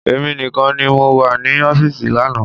Èmi nìkan ni mo wà ní ọfísì lánàá